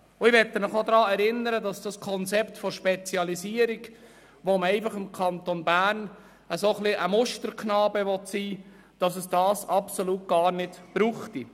Ich möchte Sie noch daran erinnern, dass es das Konzept «Spezialisierung», mit dem der Kanton Bern ein bisschen ein Musterknabe sein will, gar nicht brauchte.